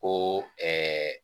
Ko